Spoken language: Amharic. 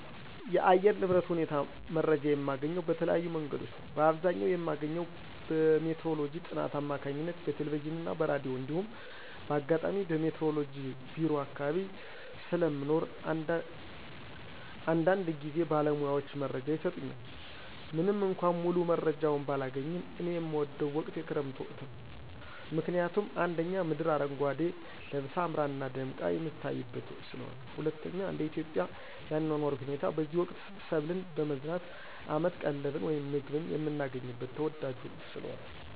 የአየር ንብረት ሁኔታ መረጃ የማገኘው በተለያዩ መንገዶች ነዉ። በአብዘኛዉ የማገኘው በሜትሮሎጅ ጥናት አማካኝነት በቴለቬዥንና በራዲዮ እንዲሁም ባጋጣሚ በሜትሮሎጅ ቢሮ አካባቢ ስለሞኖር አንዳንድጊዝ ባለሙያዎች መረጃ ይሰጡኛል። ምንምእኳ ሙሉመረጃውን ባላገኝም። እኔ የምወደው ወቅት የክረምት ወቅትን ነው። ምክንያቱም፦ 1)ምድር አረጓዴ ለበሳ አምራና ደምቃ የምትታይበት ወቅት ስለሆነ። 2)እንደኢትዮጵያ የአኗኗር ሁኔታ በዚህ ወቅት ሰብልን በመዝራት አመት ቀለብን ወይም ምግብን የምናገኝበት ተወዳጁ ወቅት ስለሆነ።